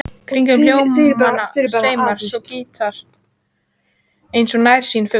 Kringum hljómana sveimar svo gítarinn eins og nærsýnn fugl.